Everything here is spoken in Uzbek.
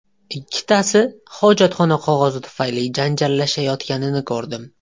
Ikkitasi hojatxona qog‘ozi tufayli janjallashayotganini ko‘rdim.